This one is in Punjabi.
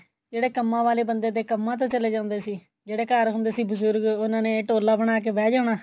ਜਿਹੜੇ ਕੰਮਾ ਵਾਲੇ ਬੰਦੇ ਦੇ ਕੰਮਾ ਤੇ ਚਲੇ ਜਾਂਦੇ ਸੀ ਜਿਹੜੇ ਘਰ ਹੁੰਦੇ ਸੀ ਬਜੁਰਗ ਉਹਨਾ ਨੇ ਟੋਲਾ ਬਣਾਕੇ ਬਹਿ ਜਾਣਾ